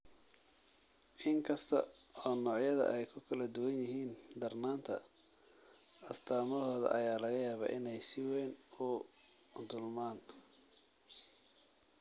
Inkasta oo noocyada ay ku kala duwan yihiin darnaanta, astaamahooda ayaa laga yaabaa inay si weyn isu dulmaan.